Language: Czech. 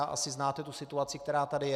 A asi znáte tu situaci, která tady je.